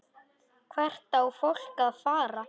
Hvert á fólk að fara?